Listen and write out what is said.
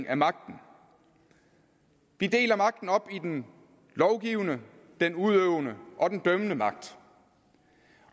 af magten vi deler magten op i den lovgivende den udøvende og den dømmende magt